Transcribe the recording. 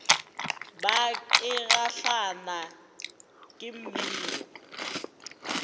bar ke kgahlwa ke mmino